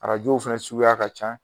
Arajow fɛnɛ suguya ka ca.